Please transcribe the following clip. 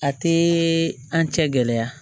A tɛ an cɛ gɛlɛya